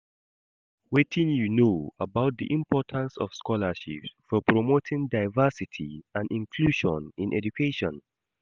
Wetin you know about di importance of scholarships for promoting diversity and inclusion in education?